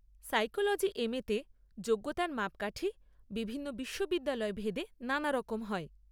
Psychology M এতে যোগ্যতার মাপকাঠি বিভিন্ন বিশ্ববিদ্যালয় ভেদে নানারকম হয়।